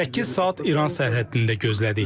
Səkkiz saat İran sərhəddində gözlədik.